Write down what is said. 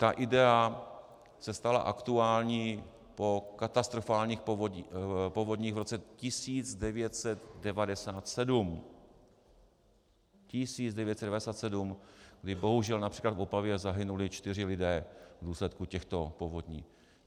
Ta idea se stala aktuální po katastrofálních povodních v roce 1997, 1997, kdy bohužel například v Opavě zahynuli čtyři lidé v důsledku těchto povodní.